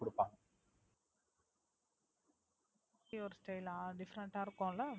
இப்டி ஒரு style ஆ Different ஆ இருக்குல.